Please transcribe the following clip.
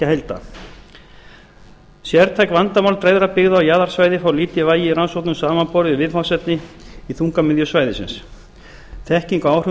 ríkjaheilda sértæk vandamál dreifðra byggða á jaðarsvæði fá lítið vægi í rannsóknum samanborið við viðfangsefni í þungamiðju svæðisins þekking á áhrifum